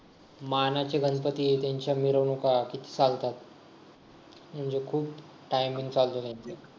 मानाचे गणपती आहे त्यांच्या मिरवणूक आहे ते चालतात म्हणजे खूप timing चालते त्यांचा